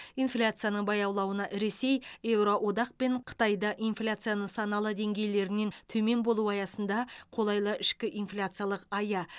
инфляцияның баялауына ресей евроодақ пен қытайда инфляция нысаналы деңгейлерінен төмен болуы аясында қолайлы ішкі инфляциялық ая